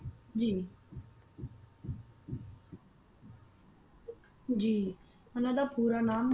ਜੀ ਜੀ ਇਹਨਾਂ ਦਾ ਪੂਰਾ ਨਾਮ